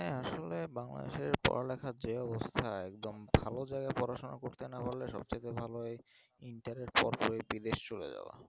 আসলে বাংলাদেশের পড়ালেখার যে অবস্থা একদম ভালো জায়গা পড়াশোনা করতে না পারলে সব থেকে ভালো এই inter এর পরে বিদেশ চলে যাওয়া।